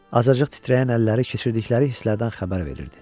Azacıq titrəyən əlləri keçirdikləri hisslərdən xəbər verirdi.